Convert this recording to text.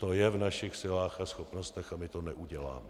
To je v našich silách a schopnostech, a my to neuděláme.